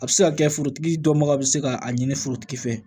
A bɛ se ka kɛ forotigi dɔ ma se ka a ɲini forotigi fɛ